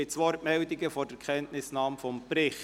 Gibt es Wortmeldungen vor der Kenntnisnahme des Berichts?